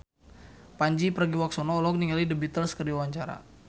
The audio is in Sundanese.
Pandji Pragiwaksono olohok ningali The Beatles keur diwawancara